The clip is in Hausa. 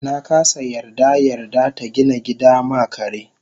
nakasa yarda yarda tagina gida ma kare